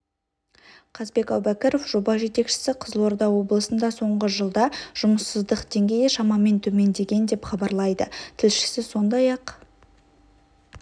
қазбек әубәкіров жоба жетекшісі қызылорда облысында соңғы жылда жұмыссыздық деңгейі шамамен төмендеген деп хабарлайды тілшісі сондай-ақ